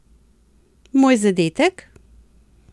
Moj zadetek?